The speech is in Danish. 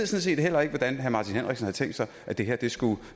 set heller ikke hvordan herre martin henriksen har tænkt sig det her skulle